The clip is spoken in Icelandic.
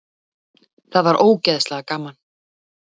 Það var ógeðslega gaman.